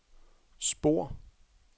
spor